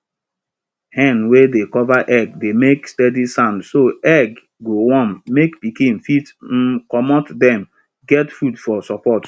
hen wey dey cover egg dey make steady sound so egg go warm make pikin fit um comot den get food for support